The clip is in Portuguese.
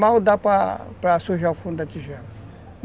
Mal dá para sujar o fundo da tigela.